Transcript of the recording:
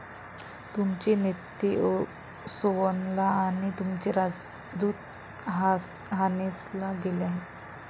तुमचे नेते सोअनला आणि तुमचे राजदूत हानेसला गेले आहेत.